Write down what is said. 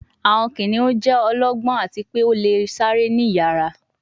Awọn kiniun jẹ ọlọgbọn ati pe o le sare ni iyara